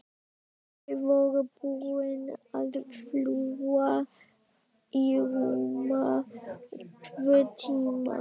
Þau voru búin að fljúga í rúma tvo tíma.